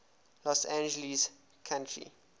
los angeles county